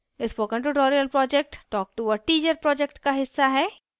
spoken tutorial project talk to a teacher project का हिस्सा है